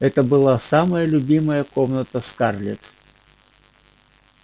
это была самая любимая комната скарлетт